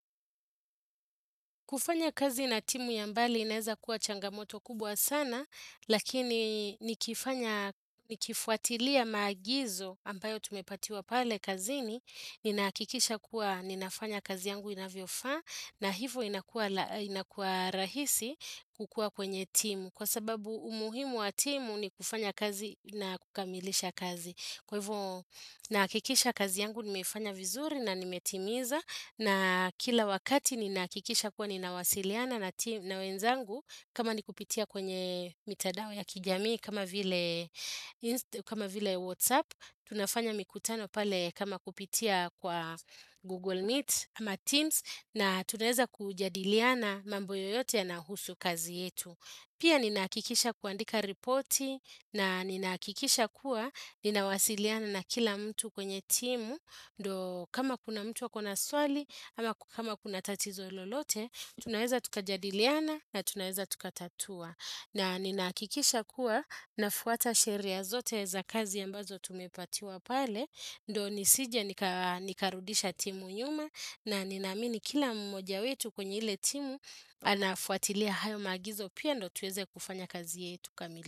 Kufanya kazi na timu ya mbali inaeza kuwa changamoto kubwa sana, lakini nikifuatilia maagizo ambayo tumepatiwa pale kazini, ninahakikisha kuwa ninafanya kazi yangu inavyofaa na hivyo inakua rahisi kukua kwenye timu. Kwa sababu umuhimu wa timu ni kufanya kazi na kukamilisha kazi. Kwa hivyo nahakikisha kazi yangu nimeifanya vizuri na nimetimiza na kila wakati ninahakikisha kuwa ninawasiliana na wenzangu kama ni kupitia kwenye mitandao ya kijamii kama vile kama vile WhatsApp, tunafanya mikutano pale kama kupitia kwa Google Meet ama Teams na tunaeza kujadiliana mambo yoyote yanahusu kazi yetu. Pia ninahakikisha kuandika ripoti na ninahakikisha kuwa ninawasiliana na kila mtu kwenye timu, ndo kama kuna mtu ako na swali ama kuna tatizo lolote, tunaweza tukajadiliana na tunaweza tukatatua. Na ninahakikisha kuwa nafuata sheria zote za kazi ambazo tumepatiwa pale, ndo nisije nikarudisha timu nyuma na ninaamini kila mmoja wetu kwenye ile timu anafuatilia hayo maagizo pia ndo tuweze kufanya kazi yetu kamili.